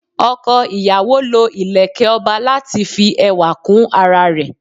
Oko ìyàwó lọ ileke ọba láti fi ẹwà kún ara rẹ